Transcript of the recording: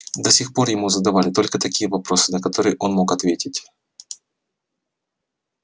до сих пор ему задавали только такие вопросы на которые он мог ответить